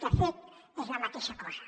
de fet és la mateixa cosa